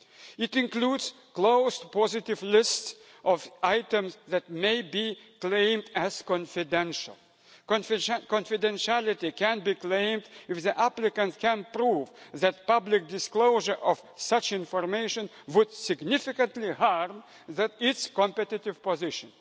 It includes a closed positive list of items that may be claimed as confidential. Confidentiality can be claimed if the applicant can prove that public disclosure of such information would significantly harm its competitive position.